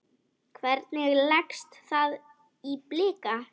Hvernig leggst það í Blika?